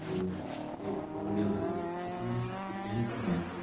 और एक वगेरह पता नहीं इसकी पेंटिंग है।